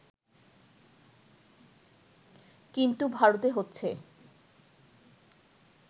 কিন্তু ভারতে হচ্ছে